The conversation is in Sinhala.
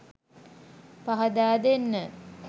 පහදා දෙන්න.